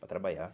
Para trabalhar.